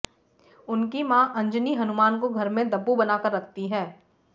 उनकी मां अंजनी हनुमान को घर में दब्बू बनाकर रखती हैं